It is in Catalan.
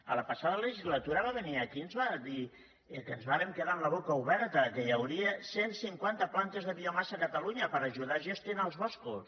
a la passada legislatura va venir aquí i ens va dir que ens vàrem quedar amb la boca oberta que hi hauria cent cinquanta plantes de biomassa a catalunya per ajudar a gestionar els boscos